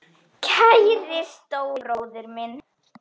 Kæri stóri bróðir minn.